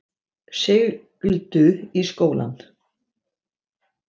Sigldu í skólann